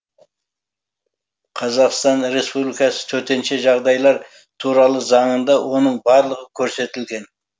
қазақстан республикасы төтенше жағдайлар туралы заңында оның барлығы көрсетілген